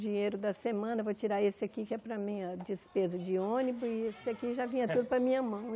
Dinheiro da semana, vou tirar esse aqui que é para a minha despesa de ônibus, e esse aqui já vinha tudo para a minha mão.